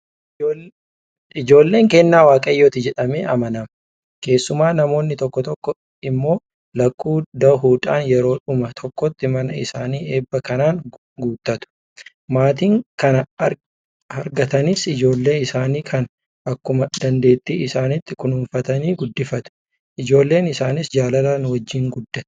Ijoolleen kennaa Waaqayyooti jedhamee amanama. Keessumaa namoonni tokko tokko immoo lakkuu dahuudhaan yeroodhuma tokkotti mana isaanii eebba kanaan guuttatu. Maatiin kana argatanis ijoollee isaanii kana akkuma dandeettii isaaniitti kunuunfatanii guddifatu. Ijoolleen isaaniis jaalalaan wajjin guddatti.